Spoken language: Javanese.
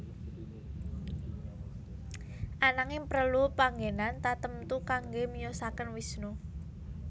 Ananging prelu panggenan tatemtu kangge miyosaken Wisnu